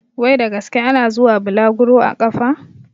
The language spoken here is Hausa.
Wai da gaske ana zuwa bulaguru a ƙafa?